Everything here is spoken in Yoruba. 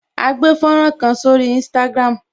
A gbé fọ́nrán kan sórí Instagram